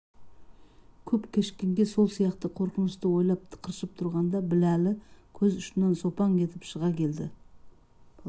көп кешіккенге сол сияқты қорқынышты ойлап тықыршып тұрғанда біләлі көз ұшынан сопаң етіп шыға келді